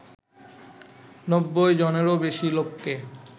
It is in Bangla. নব্বই জনেরও বেশি লোককে